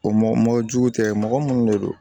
O mɔ mɔ jugu tɛ mɔgɔ munnu de don